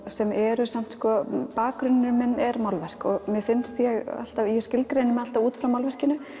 sem eru samt sko bakgrunnurinn minn er málverk og mér finnst ég alltaf ég skilgreini mig alltaf út frá málverkinu